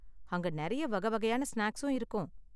அங்க நெறையா வகை வகையான ஸ்நாக்ஸும் இருக்கும்.